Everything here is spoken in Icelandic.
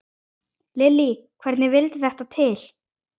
Lillý: Hvernig vildi þetta til?